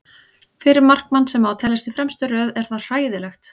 Fyrir markmann sem á að teljast í fremstu röð er það hræðilegt.